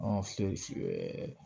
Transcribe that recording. Ɔ